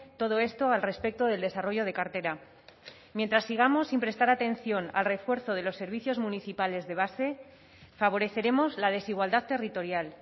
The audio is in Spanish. todo esto al respecto del desarrollo de cartera mientras sigamos sin prestar atención al refuerzo de los servicios municipales de base favoreceremos la desigualdad territorial